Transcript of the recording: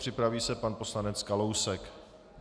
Připraví se pan poslanec Kalousek.